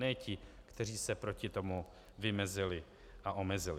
Ne ti, kteří se proti tomu vymezili a omezili.